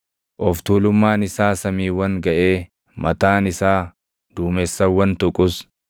Of tuulummaan isaa samiiwwan gaʼee mataan isaa duumessawwan tuqus,